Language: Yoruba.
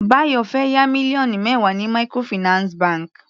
Bayo fẹ́ yá mílíọ̀nù mẹwa ní microfinance bank.